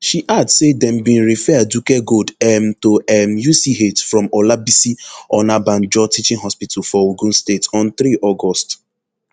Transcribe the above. she add say dem bin refer aduke gold um to um uch from olabisi onabanjo teaching hospital for ogun state on three august